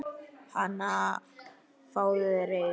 Hana, fáðu þér reyk